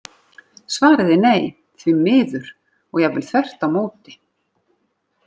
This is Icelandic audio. Svarið er nei, því miður, og jafnvel þvert á móti!